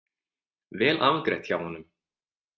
Vel afgreitt hjá honum.